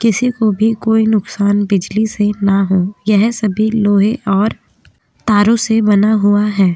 किसी को भी कोई नुकसान बिजली से ना हो। यह सभी लोहे और तारों से बना हुआ हैं।